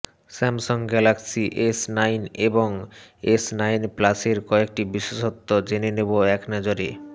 Samsung Galaxy S nine এবং S nine প্লাসের কয়েকটি বিশেষত্ব জেনে নেব একনজরে